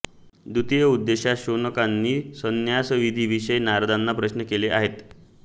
द्वितीय उपदेशात शौनकांनी संन्यासविधीविषयी नारदांना प्रश्न केलेले आहेत